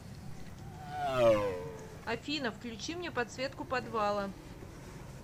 афина включи мне подсветку подвала